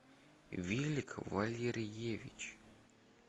вилик валерьевич